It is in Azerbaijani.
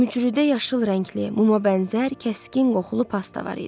Mücrüdə yaşıl rəngli, mumabənzər, kəskin qoxulu pasta var idi.